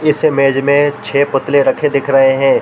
इस इमेज में छः पत्रे रखे दिखे रहे है।